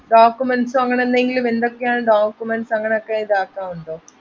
documents ഓ അങ്ങനെന്തെങ്കിലും എന്തൊക്കെയാണ് documents അങ്ങനൊക്കെ ഇതാക്കാൻ ഉണ്ടോ.